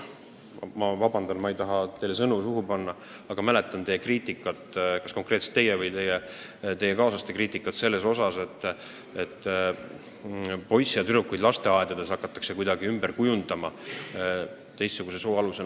Vabandust, ma ei taha teile sõnu suhu panna, aga ma mäletan kas konkreetselt teie või teie kaaslaste kriitikat selle kohta, et poisse ja tüdrukuid hakatakse lasteaedades kuidagi ümber kujundama sooneutraalsuse alusel.